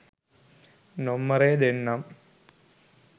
නොම්මරේ දෙන්නම්.